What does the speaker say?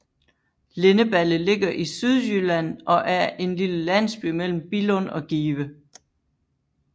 Lindeballe ligger i Sydjylland og er en lille landsby mellem Billund og Give